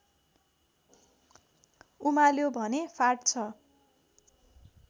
उमाल्यो भने फाट्छ